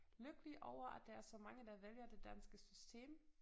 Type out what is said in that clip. Lykkelige over at der er så mange der vælger det danske system